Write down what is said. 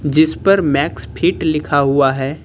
जिस पर Max Fit लिखा हुआ है।